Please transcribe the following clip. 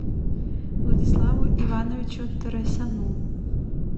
владиславу ивановичу торосяну